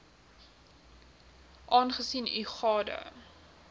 aangesien u gade